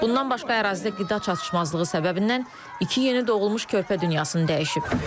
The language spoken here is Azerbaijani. Bundan başqa ərazidə qida çatışmazlığı səbəbindən iki yeni doğulmuş körpə dünyasını dəyişib.